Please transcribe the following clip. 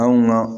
Anw na